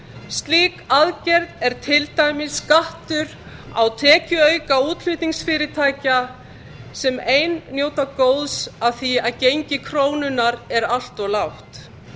slík aðgerð e til dæmis skattur á tekjuauka útflutningsfyrirtækja sem ein njóta góðs af því að gengi krónunnar er allt of lágt